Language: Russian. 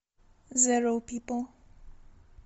зеро пипл